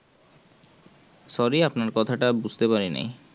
sorry আপনার কথাটা বুঝতে পারিনি